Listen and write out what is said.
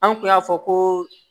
An kun y'a fɔ ko